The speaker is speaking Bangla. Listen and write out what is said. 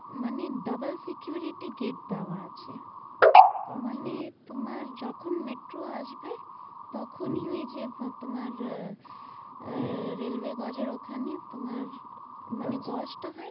মানে double security gate দেওয়া আছে মানে আচ্ছা তোমার যখন metro আসবে তখনি ওই যে তোমার আহ আহ railway গজ এর ওখানে তোমার মানে গজটা হয়,